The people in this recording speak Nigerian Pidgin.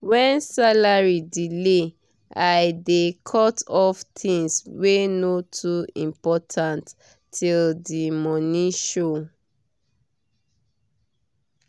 when salary delay i dey cut off things wey no too important till the money show.